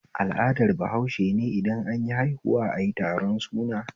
Al'adar bahaushene idan anyi haihuwa ayi taron suna